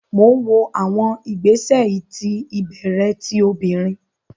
Mo n wo awọn igbesẹ iti ibẹrẹ ti obinrin